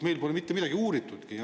Meil pole mitte midagi uuritudki.